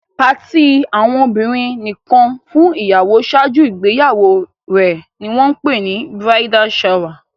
Party àwọn obìrin nìkan fún ìyàwó ṣáájú ìgbéyàwó rè ní wón pè ni "bridal shower"